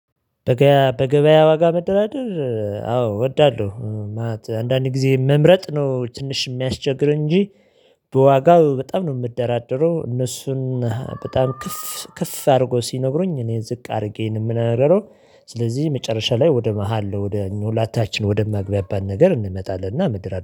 በገበያ በገበያ ዋጋ መደራደር አዎ እወዳለሁ ማለት አንዳንድ ጊዜ መምረጥ ነው ትንሽ የሚያስቸግር እንጂ በዋጋው በጣም ነው የምደራደረው እነሱን በጣም ከፍ ከፍ አድርገው ሲነግሩኝ እኔ ዝቅ አድርጌ ነው የምነግረው። ስለዚህ መጨረሻ ላይ ወደ መሃል ወደ እኛ ሁላታችን ወደ ሚያግባባን ነገር እንመጣለንና እንደራደራለን